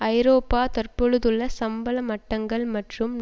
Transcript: ஐரோப்பா தற்பொழுதுள்ள சம்பள மட்டங்கள் மற்றும்